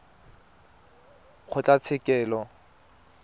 kgotlatshekelo